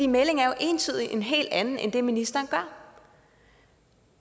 meldingen er jo entydigt en helt anden end det ministeren gør